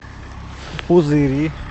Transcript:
пузыри